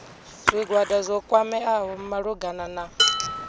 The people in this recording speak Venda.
zwigwada zwo kwameaho malugana na